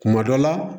Kuma dɔ la